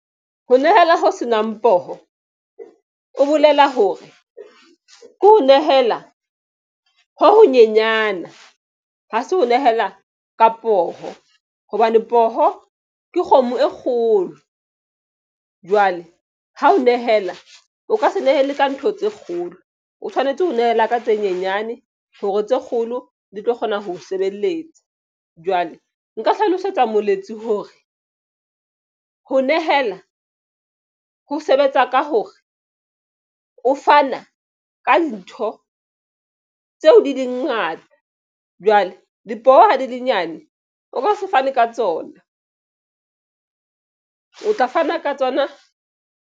Ho nehela ho senang poho o bolela hore ke ho nehela ho honyenyana ho se ho nehela ka poho hobane poho ke kgomo e kgolo. Jwale ha o nehela o ka se nehele ka ntho tse kgolo o tshwanetse ho nehela ka tse nyenyane hore tse kgolo di tlo kgona ho sebeletsa. Jwale nka hlalosetsa moletsi hore ho nehela ho sebetsa ka hore o fana ka ntho tseo di dingata jwale dipoho ha di le nyane o ka se fane ka tsona o tla fana ka tsona.